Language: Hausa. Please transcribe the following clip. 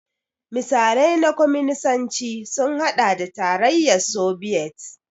Misalai na Kwaminisanci sun haɗa da Tarayyar Sobiyet.